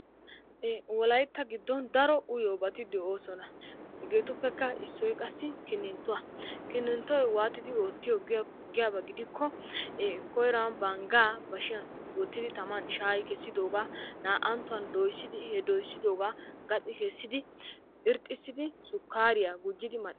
Wolaytta giddon daro uyiyoobati de'oosona. hegetu giidon issoy kinittuwaa. kinittoy waantidi oottiyoo giyoo giyaaba gidikko koyruwaan bashiyaan banggaa woottidi shaayidi kessidoogaa na"anttuwaan dooyissidi he doyssidoogaa gaaxi keessidi irxxisidi suukariyaa mal"eetees.